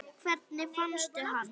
Hvernig fannstu hann?